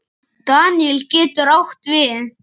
Daníel getur átt við